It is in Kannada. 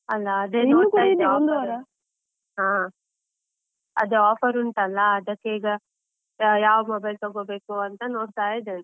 ಅಲ್ಲ, ಹಾ ಅದು offer ಉಂಟಲ್ಲ, ಅದಕ್ಕೆ ಈಗ ಯಾವ mobile ತೊಗೋಬೇಕು ಅಂತಾ ನೋಡ್ತಾ ಇದ್ದೆ.